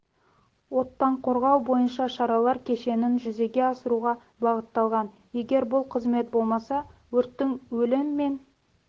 оттан қорғау бойынша шаралар кешенін жүзеге асыруға бағытталған егер бұл қызмет болмаса өрттің өлім мен